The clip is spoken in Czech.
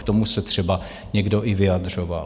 K tomu se třeba někdo i vyjadřoval.